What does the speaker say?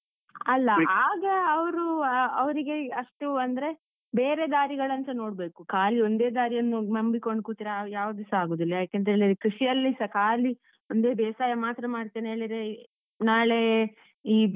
ಅಲ್ಲ. ಹಾಗೆ ಅವ್ರೂ, ಅವ್ರಿಗೆ ಅಷ್ಟು ಅಂದ್ರೆ ಬೇರೆ ದಾರಿಗಳಂತ ನೋಡ್ಬೇಕು, ಖಾಲಿ ಒಂದೇ ದಾರಿಯನ್ನು ನಂಬಿಕೊಂಡು ಕೂತ್ರೆ ಯಾವ್ದೂಸ ಆಗುದಿಲ್ಲ ಯಾಕಂತೇಳಿದ್ರೆ ಕೃಷಿಯಲ್ಲಿ ಸ ಖಾಲಿ ಒಂದೇ ಬೇಸಾಯ ಮಾತ್ರ ಮಾಡ್ತೇನೆ ಹೇಳಿದ್ರೆ ನಾಳೆ ಈ,